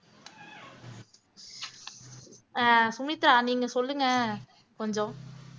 ஆஹ் சுமித்ரா நீங்க சொல்லுங்க கொஞ்சம்